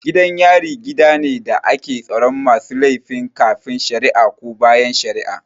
Gidan yari gidane da ake tsaron masu laifin kafin shara'a ko bayan shara'a